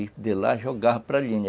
E de lá jogava para linha.